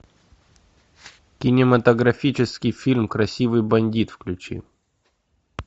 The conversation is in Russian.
кинематографический фильм красивый бандит включи